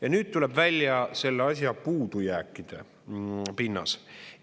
Ja nüüd tuleb välja selle asja puudujääkide pinnas.